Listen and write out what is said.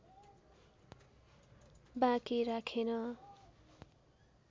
बाँकी राखेन